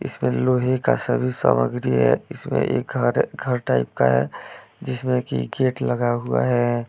इसमें लोहे का सभी सामग्री है इसमें एक घर घर टाइप का है जिसमें की गेट लगा हुआ है।